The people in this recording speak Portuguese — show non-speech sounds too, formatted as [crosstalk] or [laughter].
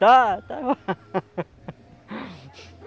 Está, está. [laughs]